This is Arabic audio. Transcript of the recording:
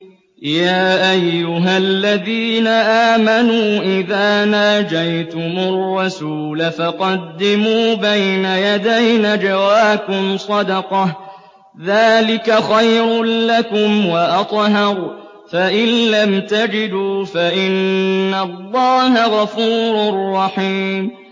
يَا أَيُّهَا الَّذِينَ آمَنُوا إِذَا نَاجَيْتُمُ الرَّسُولَ فَقَدِّمُوا بَيْنَ يَدَيْ نَجْوَاكُمْ صَدَقَةً ۚ ذَٰلِكَ خَيْرٌ لَّكُمْ وَأَطْهَرُ ۚ فَإِن لَّمْ تَجِدُوا فَإِنَّ اللَّهَ غَفُورٌ رَّحِيمٌ